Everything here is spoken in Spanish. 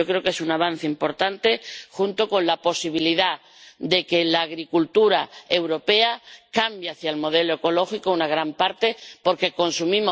Yo creo que es un avance importante, junto con la posibilidad de que la agricultura europea cambie hacia el modelo ecológico —una gran parte— porque